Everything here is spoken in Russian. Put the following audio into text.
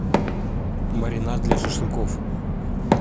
маринад для шашлыков